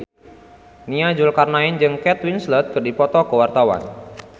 Nia Zulkarnaen jeung Kate Winslet keur dipoto ku wartawan